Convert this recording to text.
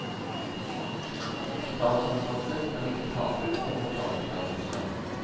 Statsansatte skal ikke tape på å ta utdannelse.